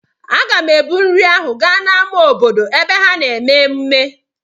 Aga m ebu nri ahụ gaa n'ámá obodo ebe ha na-eme ememme.